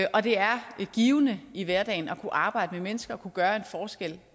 og det er givende i hverdagen at kunne arbejde med mennesker at kunne gøre en forskel